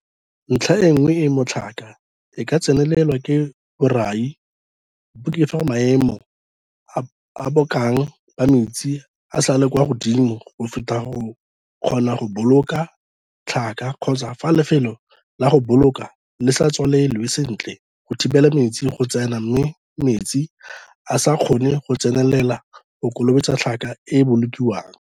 Ntlha e nngwe e mo tlhaka e ka tsenelelwang ke borai bo ke fa maemo a bokana ba metsi a sa le kwa godimo go feta go kgona go boloka tlhaka kgotsa fa lefelo la go boloka le sa tswalelwe sentle go thibela metsi go tsena mme metsi a sa kgona go tsenelela go kolobetsa tlhaka e e bolokiwang.